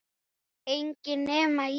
Enginn nema ég